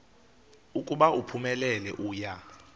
ukuba uphumelele uya